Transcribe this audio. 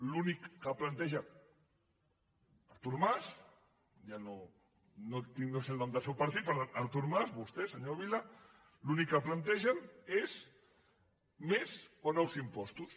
l’únic que planteja artur mas ja no sé el nom del seu partit però artur mas i vostè senyor vila l’únic que plantegen és més o nous impostos